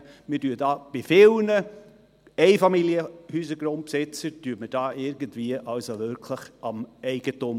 Wir knabbern hier bei vielen Einfamilienhausgrundbesitzern irgendwie wirklich am Eigentum.